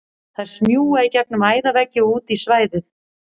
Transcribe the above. Þær smjúga í gegnum æðaveggi og út í svæðið.